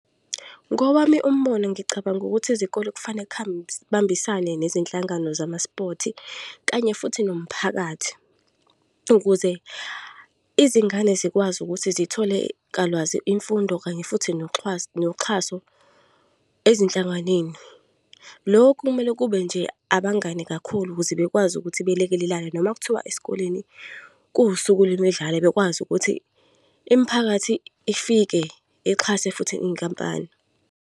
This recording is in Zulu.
Ngowami umbono, ngicabanga ukuthi izikole kufanele kubambisane nezinhlangano zamaspothi, kanye futhi nomphakathi ukuze izingane zikwazi ukuthi zithole imfundo kanye futhi noxhaso ezinhlanganeni. Lokhu kumele kube nje abangani kakhulu, ukuze bekwazi ukuthi belekelelane noma kuthiwa esikoleni kuwusuku lwemidlalo bekwazi ukuthi imiphakathi ifike ixhase futhi iy'nkampani.